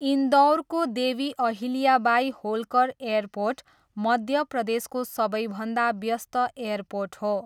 इन्दौरको Devi Ahilyabai Holkar airport मध्य प्रदेशको सबैभन्दा व्यस्त एयरपोर्ट हो।